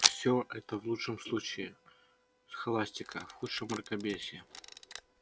все это в лучшем случае схоластика в худшем мракобесие